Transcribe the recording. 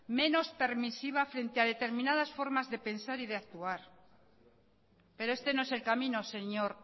menos permisiva frente a determinadas formas de pensar y de actuar pero este no es el camino señor